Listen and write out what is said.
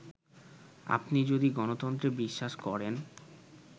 আপনি যদি গণতন্ত্রে বিশ্বাস করেন